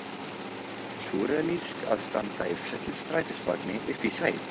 Súrrealískt að standa í fullum strætisvagni uppi í sveit!